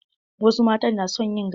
Wasu matan na son yin gasa.